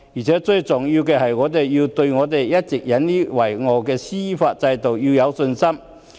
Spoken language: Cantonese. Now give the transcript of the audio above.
最重要的是，我們要對香港一直引以為傲的司法制度有信心。